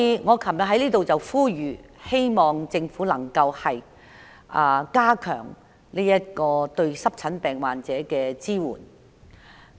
我昨天呼籲政府加強對濕疹病患者的支援。